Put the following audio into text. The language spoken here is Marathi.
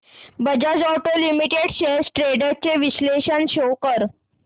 Bajaj auto limited shares trends चे विश्लेषण शो कर